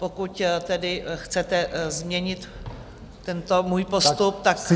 Pokud tedy chcete změnit tento můj postup, tak prosím.